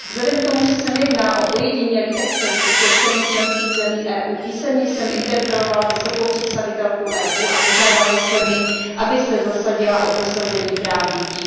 Vzhledem ktomu, že se nejedná o ojedinělý exces vůči občanům členských zemí EU, písemně jsem interpelovala vysokou představitelku EU a požádala jsem ji, aby se zasadila o prosazení práv dětí.